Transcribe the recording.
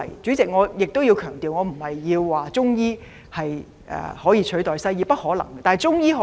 主席，我必須強調，我的意思不是說中醫可取代西醫，這絕不可能。